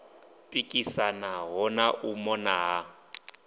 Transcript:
pikisanaho na u mona ha